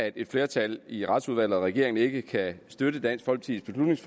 et flertal i retsudvalget og i regeringen ikke kan støtte dansk folkepartis